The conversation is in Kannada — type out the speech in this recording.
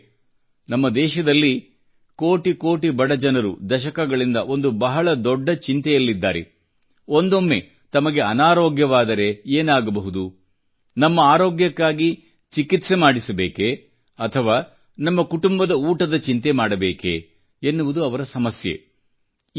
ಗೆಳೆಯರೇ ನಮ್ಮ ದೇಶದಲ್ಲಿ ಕೋಟಿ ಕೋಟಿ ಬಡಜನರು ದಶಕಗಳಿಂದ ಒಂದು ಬಹಳ ದೊಡ್ಡ ಚಿಂತೆಯಲ್ಲಿದ್ದಾರೆ ಒಂದೊಮ್ಮೆ ತಮಗೆ ಅನಾರೋಗ್ಯವಾದರೆ ಏನಾಗಬಹುದು ನಮ್ಮ ಆರೋಗ್ಯಕ್ಕಾಗಿ ಚಿಕಿತ್ಸೆ ಮಾಡಿಸಬೇಕೇ ಅಥವಾ ನಮ್ಮ ಕುಟುಂಬದ ಊಟದ ಚಿಂತೆ ಮಾಡಬೇಕೆ ಎನ್ನುವುದು ಅವರ ಸಮಸ್ಯೆ